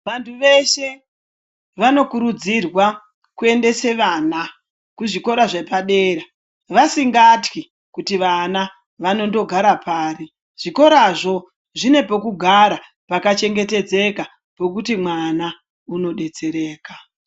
Vantu veshe vanokudzirwa kuendesa vana kuzvikora zvepadera vasingatwi kuti vana vanondogara pari zvikorazvo zvinepegara pakachengetedzeka pokuti mwana unodetsereka.